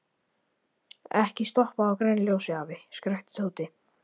Ekki stoppa á grænu ljósi, afi! skrækti Tóti.